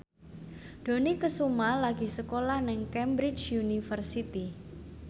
Dony Kesuma lagi sekolah nang Cambridge University